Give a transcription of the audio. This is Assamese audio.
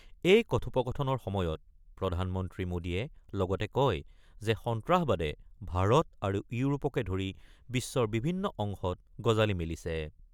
এই কথোপকথনৰ সময়ত প্ৰধানমন্ত্ৰী মোদীয়ে লগতে কয় যে সন্ত্ৰাসবাদে ভাৰত আৰু ইউৰোপকে ধৰি বিশ্বৰ বিভিন্ন অংশত গজালি মেলিছে।